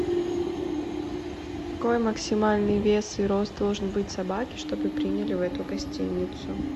какой максимальный вес и рост должен быть собаки чтобы приняли в эту гостиницу